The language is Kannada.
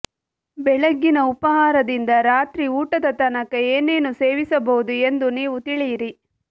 ಬೆಳಗ್ಗಿನ ಉಪಾಹಾರದಿಂದ ರಾತ್ರಿ ಊಟದ ತನಕ ಏನೇನು ಸೇವಿಸಬಹುದು ಎಂದು ನೀವು ತಿಳಿಯಿರಿ